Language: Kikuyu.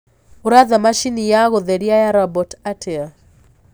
uraatha machĩnĩ ya gutherĩa ya robotĩ atĩa